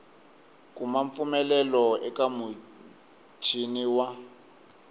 kuma mpfumelelo eka muchini wa